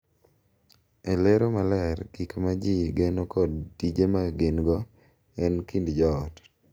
E lero maler gik ma ji geno kod tije ma gin-go e kind joot.